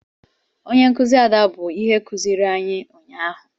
Onye nkụzi Ada bụ ihe kụziiri anyị ụnyaahụ